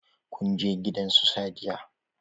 Kun je gidan su Sadiya?